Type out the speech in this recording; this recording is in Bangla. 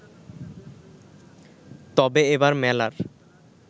তবে এবার মেলার